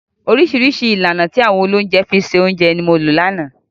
Oríṣiríṣi ìlànà tí àwọn olóúnjẹ fi ń se oúnjẹ ni mo lò lánàá.